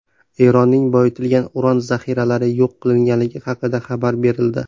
Eronning boyitilgan uran zaxiralari yo‘q qilingani haqida xabar berildi.